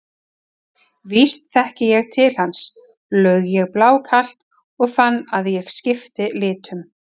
Víst þekki ég til hans, laug ég blákalt og fann að ég skipti litum.